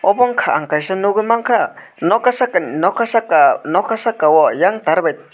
abo wngkha ang kaisa nogoi mangka noka sakani noka saka noka sako eyang tar bai.